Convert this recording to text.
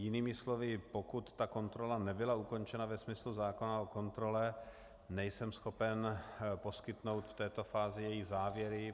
Jinými slovy, pokud ta kontrola nebyla ukončena ve smyslu zákona o kontrole, nejsem schopen poskytnout v této fázi její závěry.